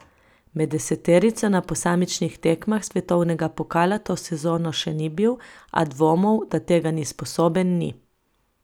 Med deseterico na posamičnih tekmah svetovnega pokala to sezono še ni bil, a dvomov, da tega ni sposoben, ni.